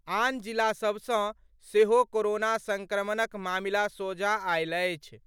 आन जिला सभ सँ सेहो कोरोना संक्रमणक मामिला सोझा आयल अछि।